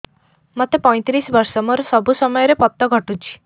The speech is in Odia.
ମୋତେ ପଇଂତିରିଶ ବର୍ଷ ମୋର ସବୁ ସମୟରେ ପତ ଘଟୁଛି